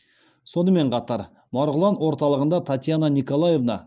сонымен қатар марғұлан орталығында татьяна николаевна